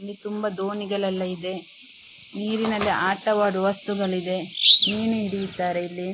ಇಲ್ಲಿ ತುಂಬ ದೋಣಿಗಲೆಲ್ಲ ಇದೆ ನೀರಿನಲ್ಲಿ ಆಟವಾಡುವಸ್ತುಗಳಿದೆ ಮೀನು ಹಿಡಿಯುತ್ತಾರೆ ಇಲ್ಲಿ.